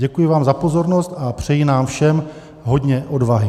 Děkuji vám za pozornost a přeji nám všem hodně odvahy.